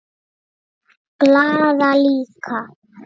Glaða líka.